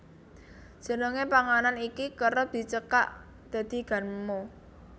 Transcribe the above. Jenenge panganan iki kerep dicekak dadi ganmo